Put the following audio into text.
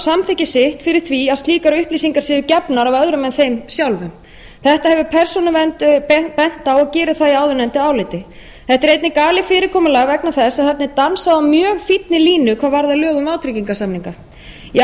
samþykki sitt fyrir því að slíkar upplýsingar séu gefnar af öðrum en þeim sjálfum þetta hefur persónuvernd bent á og gerir það í áðurnefndu áliti þetta er einnig galið fyrirkomulag vegna þess að þarna er dansað á mjög fínni línu hvað varðar lög um vátryggingarsamninga í